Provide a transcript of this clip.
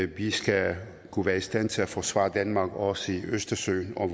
vi skal kunne være i stand til at forsvare danmark også i østersøen og